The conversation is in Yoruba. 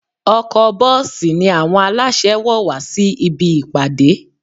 Ọkọ̀-bọ́ọ̀sì ni àwọn aláṣẹ wọ̀ wá sí ibi ìpàdé